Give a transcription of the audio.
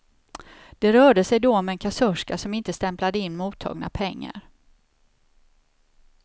Det rörde sig då om en kassörska som inte stämplade in mottagna pengar.